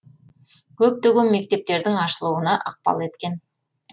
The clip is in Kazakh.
көптеген мектептердің ашылуына ықпал еткен